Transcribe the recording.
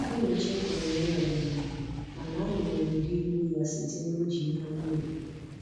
Anyị chefuru nri ọdịnala, mana anyị mere ụdị yiri ya site na iji ihe anyị nwere